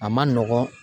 A man nɔgɔn